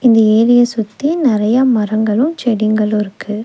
இந்த ஏரிய சுத்தி நறைய மரங்களும் செடிங்களும் இருக்கு.